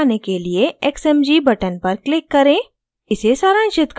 grace plot दिखाने के लिए xmg button पर click करें